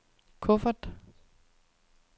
kuffert